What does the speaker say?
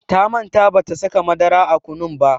Ta manta bata saka madara a kunun ba.